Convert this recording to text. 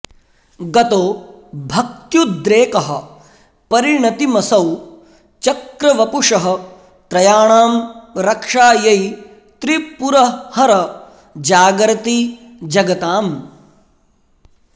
गतो भक्त्युद्रेकः परिणतिमसौ चक्रवपुषः त्रयाणां रक्षायै त्रिपुरहर जागर्ति जगताम्